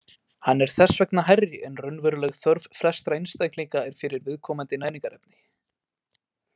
Hann er þess vegna hærri en raunveruleg þörf flestra einstaklinga er fyrir viðkomandi næringarefni.